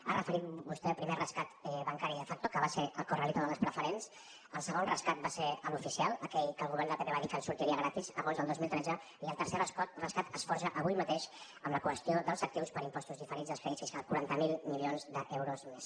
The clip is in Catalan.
ha referit vostè el primer rescat bancari de facto que va ser el corralito de les preferents el segon rescat va ser l’oficial aquell que el govern del pp va dir que ens sortiria gratis agost del dos mil tretze i el tercer rescat es forja avui mateix amb la qüestió dels actius per impostos diferits dels crèdits fiscals quaranta miler milions d’euros més